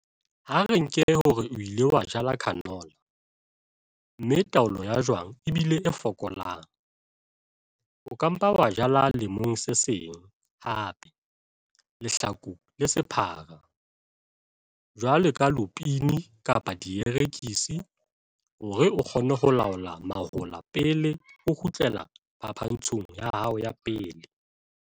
A re nke hore o ile wa jala canola, mme taolo ya jwang e bile e fokolang, o ka mpa wa jala lemong se seng hape lehlaku le sephara, jwalo ka lupine kapa dierekisi hore o kgone ho laola mahola pele o kgutlela phapantshong ya hao ya pele.